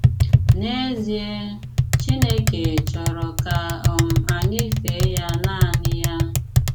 N'èzịè, Chínékè chọ̀rọ̀ kà um ànyị́ féè yá nànị́ yá.